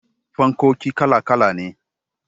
Fankoki kala kala ne.